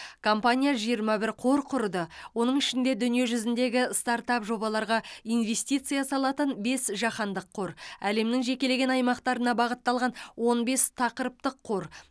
компания жиырма бір қор құрды оның ішінде дүниежүзіндегі стартап жобаларға инвестиция салатын бес жаһандық қор әлемнің жекелеген аймақтарына бағытталған он бес тақырыптық қор